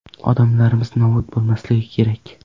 Odamlarimiz nobud bo‘lmasligi kerak.